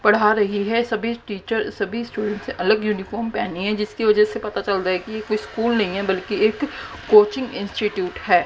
पढ़ा रही है सभी टीचर सभी स्टूडेंट्स अलग यूनिफॉर्म पहनी है जिसकी वजह से पता चल रहा है कि ये कोई स्कूल नहीं है बल्कि एक कोचिंग इंस्टीट्यूट कोचिंग है।